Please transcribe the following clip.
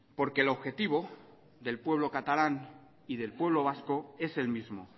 porque el objetivo del pueblo catalán y del pueblo vasco es el mismo